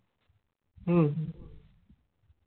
হু হু